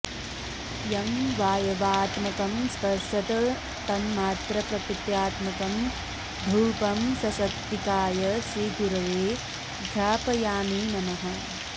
यं वाय्वात्मकं स्पर्शतन्मात्रप्रकृत्यात्मकं धूपं सशक्तिकाय श्रीगुरवे घ्रापयामि नमः